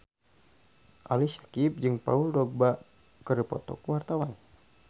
Ali Syakieb jeung Paul Dogba keur dipoto ku wartawan